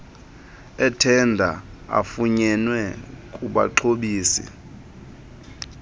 ethenda afunyenwe kubaxhobisi